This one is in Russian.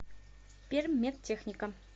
перммедтехника